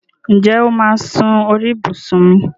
Ǹjẹ́ o máà sún sí orí ibùsùn mi?